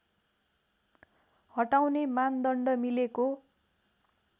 हटाउने मानदण्ड मिलेको